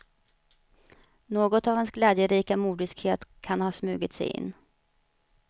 Något av hans glädjerika mordiskhet kan ha smugit sig in.